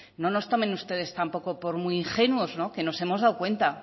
no nos tomen ustedes tampoco por muy ingenuos que nos hemos dado cuenta